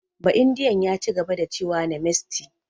Ba'indiyan ya cigaba da cewa "Namaste"